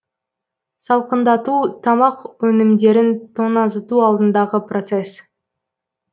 салқындату тамақ өнімдерін тоңазыту алдындағы процесс